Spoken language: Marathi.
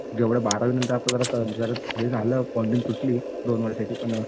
जेवढं बारावीनंतर आपल्याला जेवढं कळल हे झालं तुटली दोन वर्षाची पण